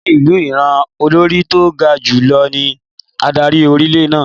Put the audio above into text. Ni ìlú Ìráǹ, Olórí tó ga jù lọ ní adarí orílẹ̀ náà.